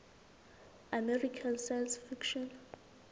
american science fiction